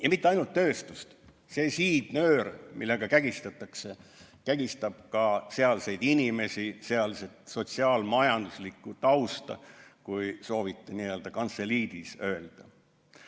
Ja mitte ainult tööstust, see siidnöör, millega kägistatakse, kägistab ka sealseid inimesi, sealset sotsiaal-majanduslikku tausta, kui soovite kantseliidis öelda.